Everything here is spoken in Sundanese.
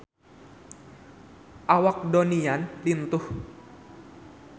Awak Donnie Yan lintuh